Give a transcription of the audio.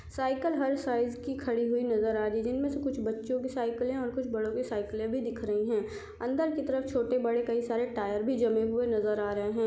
Cycle हर size की खड़ी हुई नज़र आ रही है जिनमे से कुछ बच्चो की साइकिलें और कुछ बड़ो की सायकिलें भी दिख रही है अंदर की तरफ छोटे बड़े कई सारे टायर भी जमे हुए नज़र आ रहे है।